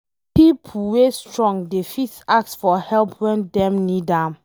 Nah pipo wey strong dey fit ask for help wen Dem need am